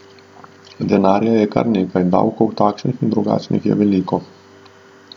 Denarja je kar nekaj, davkov takšnih in drugačnih je veliko.